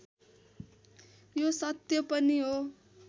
यो सत्य पनि हो